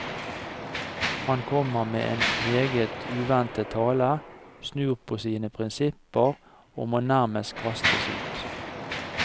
Han kommer med en meget uventet tale, snur på sine prinsipper og må nærmest kastes ut.